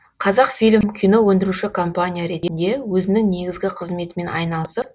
қазақфильм кино өндіруші компания ретінде өзінің негізгі қызметімен айналысып